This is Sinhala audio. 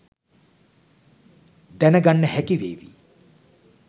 දැනගන්න හැකිවේවි.